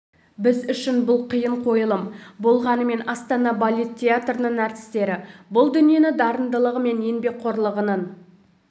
біз үшін бұл қиын қойылым болғанымен астана балет театрының әртістері бұл дүниені дарындылығы мен еңбекқорлығының